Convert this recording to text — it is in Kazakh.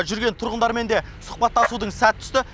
жүрген тұрғындармен де сұхбаттасудың сәті түсті